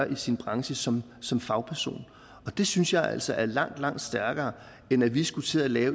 i sin branche som som fagperson og det synes jeg altså er langt langt stærkere end at vi skulle til at